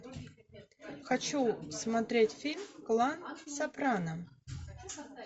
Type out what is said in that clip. хочу смотреть фильм клан сопрано